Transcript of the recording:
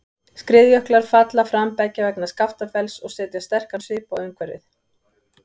Skriðjöklar falla fram beggja vegna Skaftafells og setja sterkan svip á umhverfið.